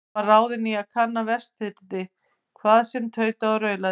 Hann var ráðinn í að kanna Vestfirði, hvað sem tautaði og raulaði.